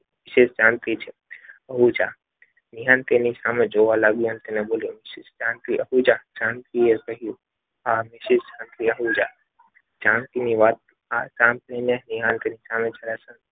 શેઠ જાનકી છે આહુજા. વિહાન તેની સામે જોવા લાગ્યો અને બોલ્યો સિઝ જાનકી આહુજા કહ્યું. આ મેસેજ જાનકી આહુજા